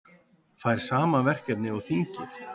Fær sama verkefni og þingið